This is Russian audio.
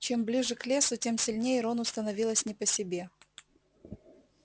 чем ближе к лесу тем сильнее рону становилось не по себе